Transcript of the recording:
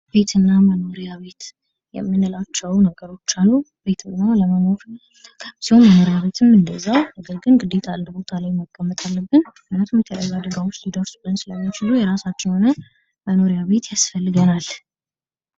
ቤትና መኖሪያ ቤት የምንላቸው ነገሮች አሉ ፥ ቤት ለመኖር መኖሪያ ቤትም እንደዛው የሚያገለግል ሲሆን ነገር ግን አንድ ቦታ ላይ መቀመጥ አለብን ምክንያቱም የተለያዩ አደጋዎች ሊደርሱብን ስለሚችሉ የራሳችን የሆነ መኖሪያ ቤት ያስፈልገናል።